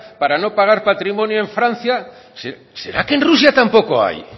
para no pagar patrimonio en francia será que en rusia tampoco hay